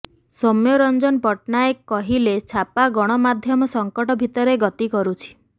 ସୌମ୍ୟରଂଜନ ପଟ୍ଟନାୟକ କହିଲେ ଛାପା ଗଣମାଧ୍ୟମ ସଂକଟ ଭିତରେ ଗତି କରୁଛି